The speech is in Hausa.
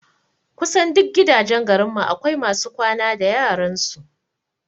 Kusan duk gidajen garin mu akwai masu kwana da yaran su